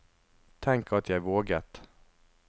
Tenk at jeg våget!